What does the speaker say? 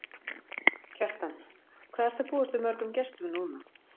Kjartan: Hvað ertu að búast við mörgum gestum núna?